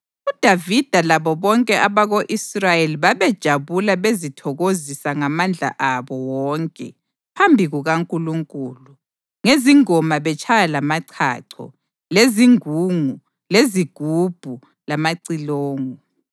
UDavida labo bonke abako-Israyeli babejabula bezithokozisa ngamandla abo wonke phambi kukaNkulunkulu, ngezingoma betshaya lamachacho, lezingungu, lezigubhu, lamacilongo.